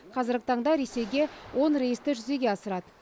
қазіргі таңда ресейге он рейсті жүзеге асырады